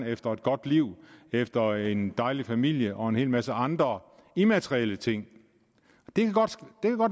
efter et godt liv efter en dejlig familie og en hel masse andre immaterielle ting det kan godt